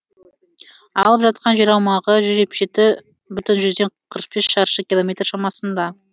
алып жатқан жер аумағы жүз жетпіс жеті бүтін жүзден қырық бес шаршы километр шамасында